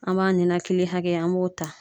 An b'a ninakili hakɛya, an b'o ta.